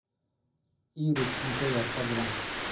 Ii rid cunta yar fadhlan